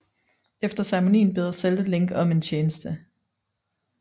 Efter ceremonien beder Zelda Link om en tjeneste